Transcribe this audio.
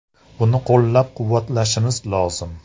Buni qo‘llab-quvvatlashimiz lozim”.